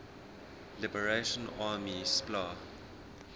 liberation army spla